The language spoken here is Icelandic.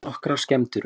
Nokkrar skemmdir urðu